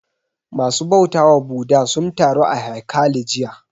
Ma su bautawa Bhudha sun taru a haikali jiya